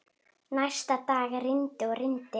Næsta dag rigndi og rigndi.